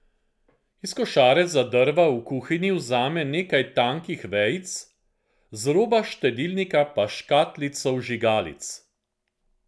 Iz košare za drva v kuhinji vzame nekaj tankih vejic, z roba štedilnika pa škatlico vžigalic.